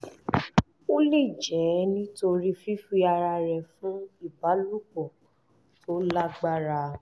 ó lè jẹ́ nítorí fífi ara rẹ̀ fún ìbálòpọ̀ tó lágbára